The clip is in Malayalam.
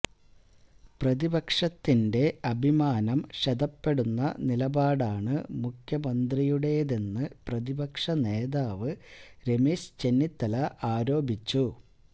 പ്രതിപക്ഷത്തിന്റെ അഭിമാനം ക്ഷതപ്പെടുന്ന നിലപാടാണ് മുഖ്യമന്ത്രിയുടേതെന്ന് പ്രതിപക്ഷ നേതാവ് രമേശ് ചെന്നിത്തല ആരോപിച്ചു